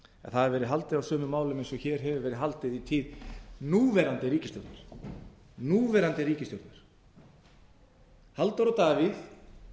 hafi verið á sumum málum eins og hér hefur verið haldið í tíð núverandi ríkisstjórnar halldór og davíð